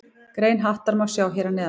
Grein Hattar má sjá hér að neðan.